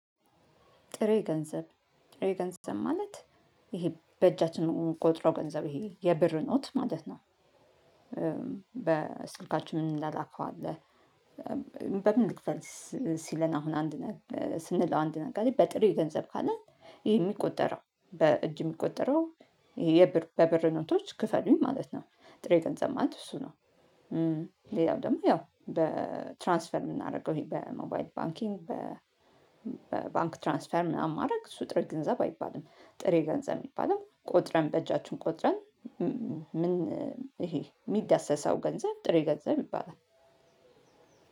ጥሬ ገንዘብ ጥሬ ገንዘብ ማለት ይሄ በእጃችን የምንቆጥረው ገንዘብ ይሄ የብር ኖት ማለት ነው። በስልካችን የምንላላከው አለ። በምን ልክፈልስ? ሲለን አሁን አንድ ስንለው አንድ ነጋዴ በጥሬ ገንዘብ ካለ የሚቆጠረው በእጅ የሚቆጠረው ይሄ በብር ኖቶች ክፈሉኝ ማለት ነው። ጥሬ ገንዘብ ማለት እሱ ነው። ሌላው ደግሞ ያው በትራንስፈር የምናደርገው ይሄ በሞባይድ ባንኪንግ በ ባንክ ትራንስፈር ምናምን ማድረግ እሱ ጥሬ ገንዘብ አይባልም። ጥሬ ገንዘብ የሚባለው ቆጥረን በእጃችን ቆጥረን። ምን? ይሄ የሚዳሰሰው ገንዘብ ጥሬ ገንዘብ ይባላል